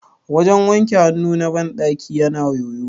wajen wanke hannu na bandaki yana yoyo